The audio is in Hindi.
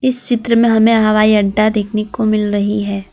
इस चित्र में हमें हवाई अड्डा देखने को मिल रही है।